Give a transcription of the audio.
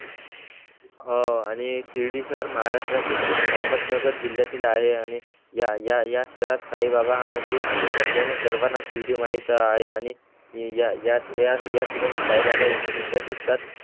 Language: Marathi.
हा आणि शिर्डी शहर माहाराष्ट्रातील अहमदनगर जिल्यातील आहे. आणि या या शहऱ्यात साई बाबा मंदिर असल्याने सर्वाना शिर्डी माहीत आहे. आणि या या या ठिकानी साई बाबा एकोणविसव्या शतकात